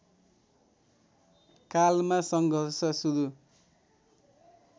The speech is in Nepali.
कालमा सङ्घर्ष सुरु